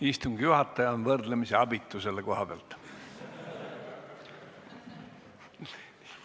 Istungi juhataja on võrdlemisi abitu selle koha pealt.